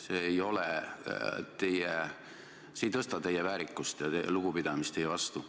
See ei tõsta teie väärikust ja ka mitte lugupidamist teie vastu.